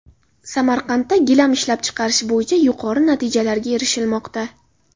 Samarqandda gilam ishlab chiqarish bo‘yicha yuqori natijalarga erishilmoqda.